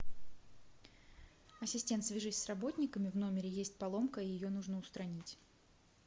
ассистент свяжись с работниками в номере есть поломка ее нужно устранить